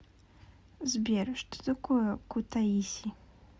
сбер что такое кутаиси